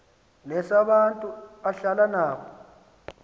nesabantu ahlala nabo